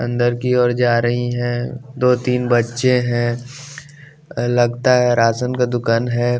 अंदर की ओर जा रही हैं दो तीन बच्चे हैं लगता है राशन का दुकान है।